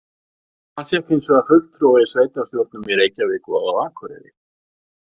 Hann fékk hins vegar fulltrúa í sveitarstjórnum í Reykjavík og á Akureyri.